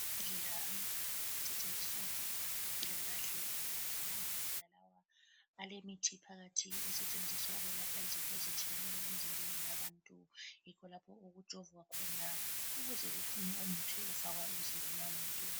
Amambodlela amabili asetshenziswa ngabantu bezempilakahle. Amambodlela lawa alemithi phakathi asetshenziswa ukwelapha izifo ezitshiyeneyo emzimbeni wabantu, yikho lapho okujovwa khona ukuze kuphume umuthi ofakwa emzimbeni womuntu.